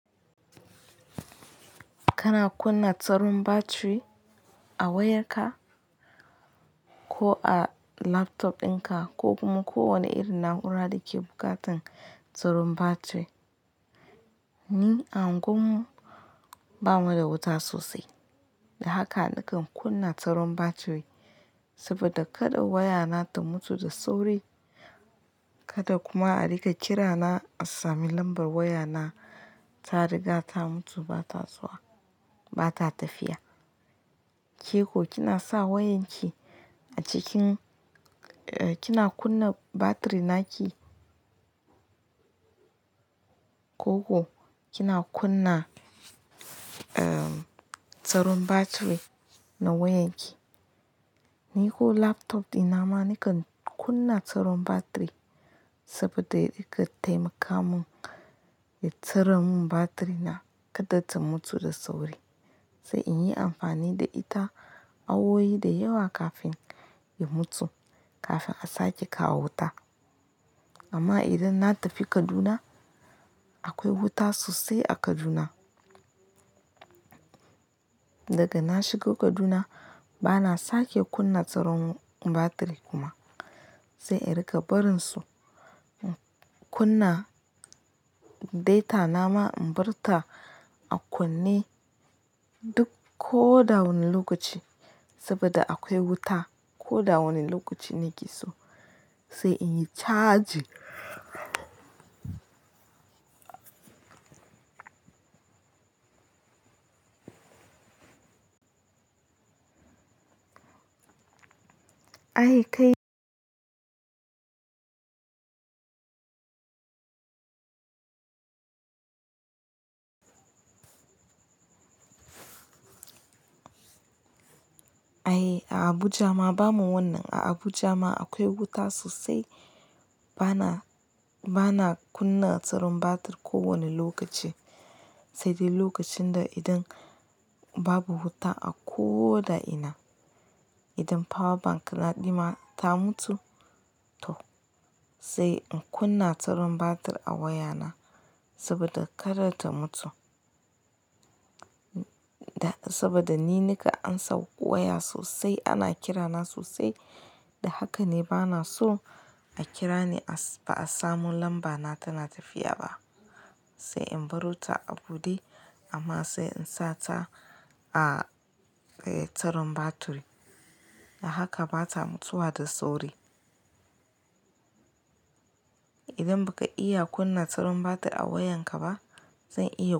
Kana kunna tsaron batiri a wayarka ko a laptop ɗinka ko kuma ko wane irin na'ura da ke buƙatar tsaron batiri. Ni a unguwar mu bamu da wuta sosai, da haka nakan kunna tsaron batiri saboda kada wayana ta mutu da sauri. Kada kuma a rika kirana a sami lambar wayana ta riga ta mutu bata zuwa bata tafiya. Ke ko kina sa wayanki a cikin, eh kina kunna batiri naki? Ko ko kina kunna, ehm tsaron batiri na wayanki? Ni ko laptop ɗina ma nakan kunna tsaron batiri saboda da riƙa taimaka mun ya tsare mun batiri na kada ta mutu da sauri, sai in yi amfani da ita awowi da yawa kafin ya mutu kafin a sake kawo wuta. Amma idan na tafi Kaduna akwai wuta sosai a Kaduna. Daga na shigo Kaduna bana sake kunna tsaron batiri kuma sai in rika barin su, kunna data na ma in bar ta a kunne duk ko da wane lokaci saboda akwai wuta ko da wane lokaci nake so sai in yi charge. Aye kai. Aye a Abuja ma bamu wannan a Abuja ma akwai wuta sosai bana, bana kunna tsaron batir ko wane lokaci. Sai dai lokacin da idan babu wuta a ko da ina, idan power bank na ɗina ta mutu toh sai in kunna tsaron batir a wayana saboda kada ta mutu. Da saboda ni nika an sa waya sosai ana kirana sosai. Da haka ne bana so a kirani a ba a samu lambana tana tafiya ba. Sai in barota a buɗe amma sai in sa ta a tsaron batiri. Da haka bata mutuwa da sauri. Idan baka iya kunna tsaron batir a wayanka ba zan iya-